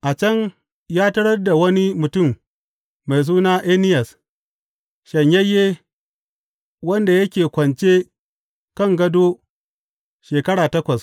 A can ya tarar da wani mutum mai suna Eniyas, shanyayye wanda yake kwance kan gado shekara takwas.